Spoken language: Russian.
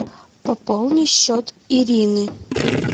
пополни счет ирины